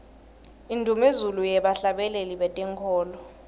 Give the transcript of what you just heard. indumezulu yebahhlabeleli betenkholo